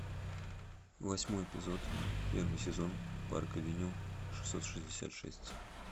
восьмой эпизод первый сезон парк авеню шестьсот шестьдесят шесть